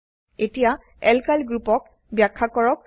এতিয়া এলকাইল গ্ৰুপক ব্যাখ্যা কৰক